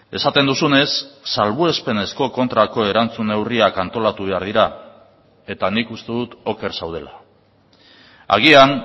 esaten duzunez salbuespenezko kontrako erantzun neurriak antolatu behar dira eta nik uste dut oker zaudela agian